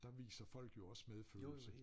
Der viser folk jo også medfølelse